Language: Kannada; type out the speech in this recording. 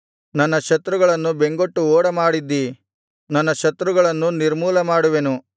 ನನ್ನ ಶತ್ರುಗಳನ್ನು ಬೆಂಗೊಟ್ಟು ಓಡಮಾಡಿದ್ದೀ ನನ್ನ ಶತ್ರುಗಳನ್ನು ನಿರ್ಮೂಲ ಮಾಡುವೆನು